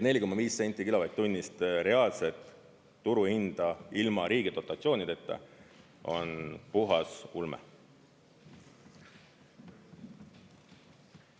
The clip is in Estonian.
4,5 senti kilovatt-tunnist reaalset turuhinda ilma riigi dotatsioonideta on puhas ulme.